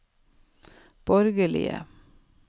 borgerlige